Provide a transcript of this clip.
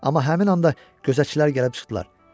Amma həmin anda gözətçilər gəlib çıxdılar.